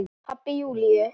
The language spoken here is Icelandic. Pabbi Júlíu?